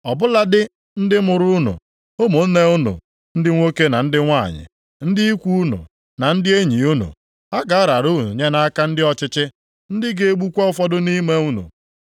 Ọ bụladị ndị mụrụ unu, ụmụnne unu ndị nwoke na ndị nwanyị, ndị ikwu unu na ndị enyi unu, ha ga-arara unu nye nʼaka ndị ọchịchị, ndị ga-egbukwa ụfọdụ nʼime unu.